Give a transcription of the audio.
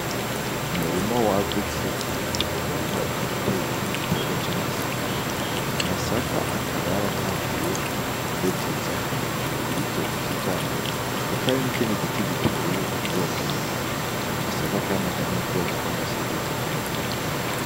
Uurima wagutse uwo murima ukaba uteyemwo igiterwa c'amasaka, amasaka akaba yaratanguye kubeteza hejuru yivyo biti vyayo hakaba hari n'ikindi giti giteye muri uwo murima ayo masaka kandi akaba ari mu bwoko bw'amasaka atukura.